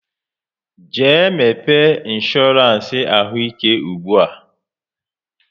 Jee mepe insoorance ahụ ike ugbua!